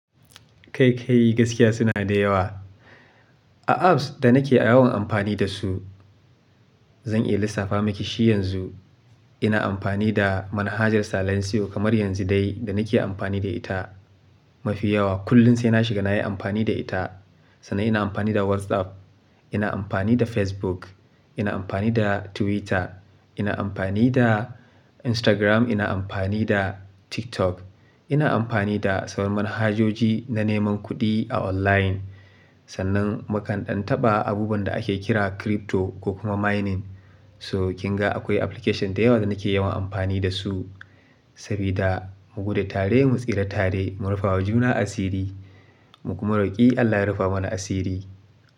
Kai kai gaskiya suna da yawa. A apps da nake yawan amfani da su, zan iya lissafa miki shi yanzu. Ina amfani da manhajar Salancio kamar yanzu dai da nake amfani da ita mafi yawa. Kullum sai na shiga nayi amfani da ita. Sannan ina amfani da WhatsApp, ina amfani da Facebook, ina amfani da Twitter, ina amfani da Instagram, ina amfani da TikTok, ina amfani da sauran manhajoji na neman kuɗi a online. Sannan makandantaɓa abubuwan da ake kira crypto ko kuma mining. So kinga akwai application da yawa da nake yawan amfani da su. Sabida mu gudu tare mu tsira tare, mu rufa wa juna asiri, mu kuma roƙi Allah ya rufa mana asiri.